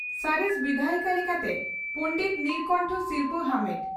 ᱥᱚᱨᱮᱥ ᱵᱤᱫᱷᱟᱭᱤᱠᱟ ᱞᱮᱠᱟᱛᱮ ᱯᱟᱰᱮᱛ ᱱᱤᱲᱚᱠᱚᱱᱴᱷᱚ ᱥᱤᱨᱯᱷᱟᱹ ᱟᱢᱮᱴ ᱾